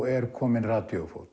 er kominn